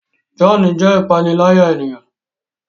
John jé ìpaniláyà ènìyàn